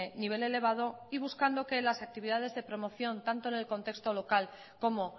nivel elevado y buscando que las actividades de promoción tanto en el contexto local como